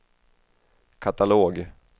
katalog